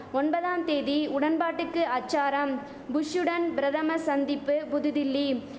ஒன்பதாம் தேதி உடன்பாட்டுக்கு அச்சாரம் புஷ்சுடன் பிரதம சந்திப்பு புதுடில்லி